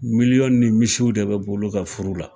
Miliyɔn ni misiw de bɛ bɔ olu ka furu la!